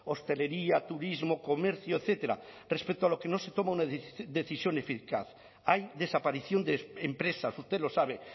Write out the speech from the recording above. hostelería turismo comercio etcétera respecto a lo que no se toma una decisión eficaz hay desaparición de empresas usted lo sabe